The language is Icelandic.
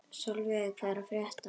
Solveig, hvað er að frétta?